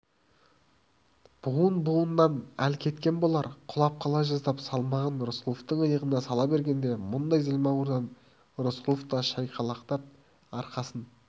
буын-буынынан әл кеткен болар құлап қала жаздап салмағын рысқұловтың иығына сала бергенде мұндай зілмауырдан рысқұлов та шайқалақтап арқасын